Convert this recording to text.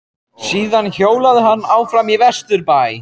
Síðan hjólaði hann áfram vestur í bæ.